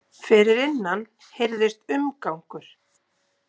Fyrir innan heyrðist umgangur.